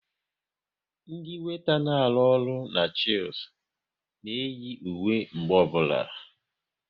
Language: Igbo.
Ndị weeta na arụ ọrụ n'Chilis na eyi uwe mgbe ọbụla